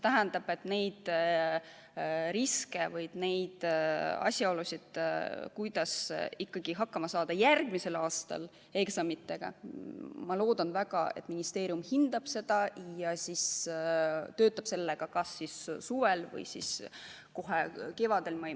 Ma loodan, et neid riske või üldse seda, kuidas ikkagi hakkama saada järgmisel aastal eksamitega, ministeerium hindab ja töötab selle kallal kas suvel või kohe kevadel.